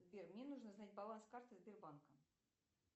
сбер мне нужно знать баланс карты сбербанка